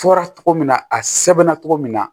Fɔra cogo min na a sɛbɛnna cogo min na